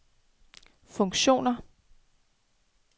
funktioner